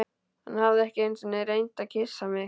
Hann hafði ekki einu sinni reynt að kyssa mig.